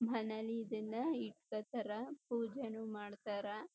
ಮನೇಲಿ ಇದನ್ನ ಇಟ್ಕೋತಾರ ಪೂಜೆನೂ ಮಾಡ್ತಾರಾ.